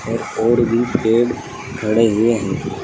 और भी पेड़ खड़े हुए हैं।